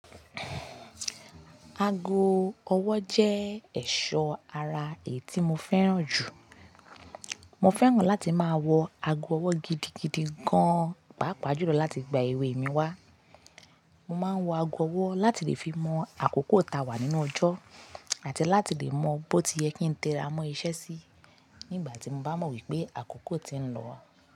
Ago ọwọ́ jẹ́ ẹ̀ṣọ́ ara èé tí mo fẹ́ràn jù. Mo fẹ́ràn láti máa wọ ago ọwọ́ gidigidi gan-an, pàápàá jùlọ láti gba ewé mi wá. Mo máa ń wọ ago ọwọ́ láti lè fi mọ àkókò ta wà nínú ọjọ́, àti láti lè mọ bó ti yẹ kí n téra mọ́ iṣẹ́ síí nígbà tí mo bá mọ̀ wípé àkókò ti ń lọ.